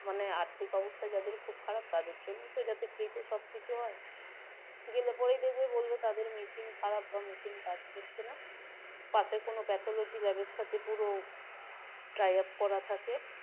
মানে আর্থিক অবস্থা যাদের খুব খারাপ তাদের জন্য free তে সবকিছু হয় গেলে পরেই দেখবে বলবে তাদের machine খারাপ বা machine কাজ করছে না পাশের কোন pathology lab এর সাথে পুরো tie up করা থাকে